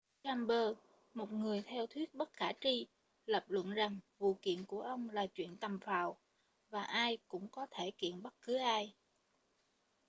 chambers một người theo thuyết bất khả tri lập luận rằng vụ kiện của ông là chuyện tầm phào và ai cũng có thể kiện bất cứ ai